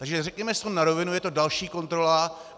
Takže řekněme si to na rovinu, je to další kontrola.